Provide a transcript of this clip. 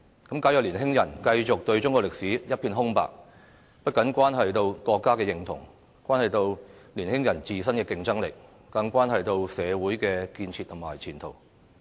假如年輕人繼續對中國歷史一片空白，不僅關係到國家認同，關係到年輕人自身的競爭力，更關係到社會的建設和前途。